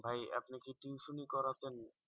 ভাই আপনি কি টিউশনি করাতেন